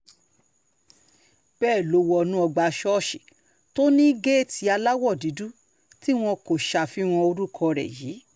bẹ́ẹ̀ ló wọnú ọgbà ṣọ́ọ̀ṣì tó ní géètì aláwọ̀ dúdú tí wọn kò ṣàfihàn orúkọ rẹ̀ yìí